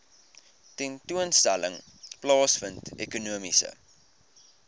tentoonstelling plaasvind ekonomiese